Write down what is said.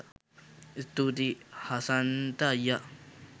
ස්තුතියි හසන්ත අයියා!